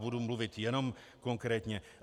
Budu mluvit jenom konkrétně.